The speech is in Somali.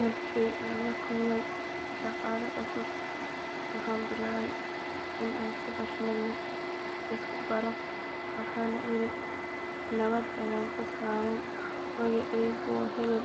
Markii aan la kulmay shaqaale cusub waxaan bilaabay in aan si xushmad leh isku baro waxaana iri nabad ayaan ku salaamay magacaygu waa hebel